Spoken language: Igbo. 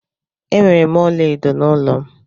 Enwere m ọla edo n'ụlọ m.